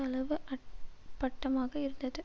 அளவு அட்பட்டமாக இருந்தது